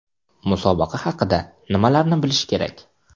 Musobaqa haqida nimalarni bilish kerak?.